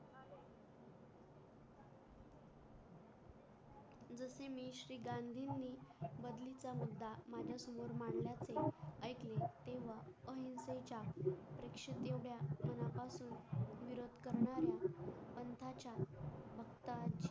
कि मी श्री गांधी नि बदली चा आणि तेव्हा उणिशे चार विरोध करणाऱ्या